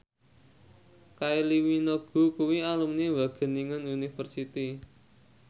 Kylie Minogue kuwi alumni Wageningen University